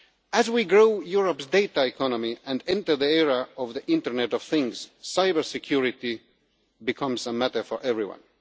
As we grow Europe's data economy and enter the era of the Internet of Things, cyber security becomes a matter for everyone.